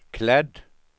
klädd